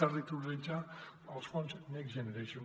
territorialitzar els fons next generation